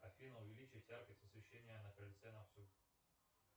афина увеличить яркость освещения на крыльце на всю